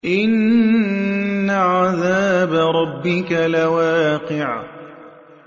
إِنَّ عَذَابَ رَبِّكَ لَوَاقِعٌ